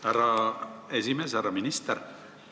Härra minister!